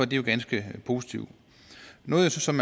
det jo ganske positivt noget som